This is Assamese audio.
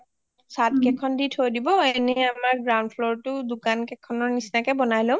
একেবাৰে উপৰত চাত গিখন দি থব আৰু আমি ground floor ত দুকানকিখনৰ নিচিনাকে বনাই লম